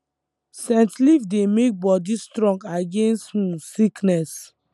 scent leaf dey make body strong against um sickness